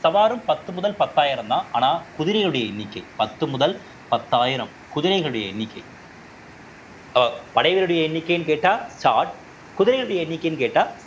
சவாரும் பத்து முதல் பத்தாயிரம்தான் ஆனா குதிரையோட எண்ணிக்கை பத்து முதல் பத்தாயிரம் குதிரைகளுடைய எண்ணிக்கை படைகளுடைய எண்ணிக்கைன்னு கேட்டா ஜாட் குதிரையினுடைய எண்ணிக்கைன்னு கேட்டா